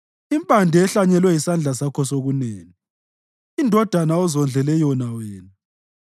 impande ehlanyelwe yisandla sakho sokunene, indodana ozondlele yona wena.